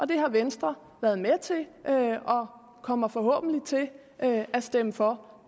det har venstre været med til og kommer forhåbentlig til at stemme for